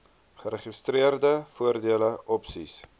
geregistreerde voordele opsies